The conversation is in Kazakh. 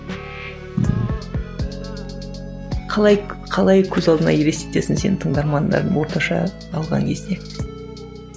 қалай қалай көз алдыңа елестетесің сен тыңдармандарыңды орташа қалған кезде